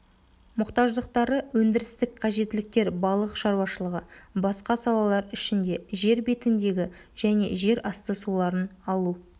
мұқтаждықтары өндірістік қажеттіліктер балық шаруашылығы басқа салалар ішінде жер бетіндегі және жерасты суларын алу